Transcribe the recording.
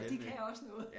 De kan også noget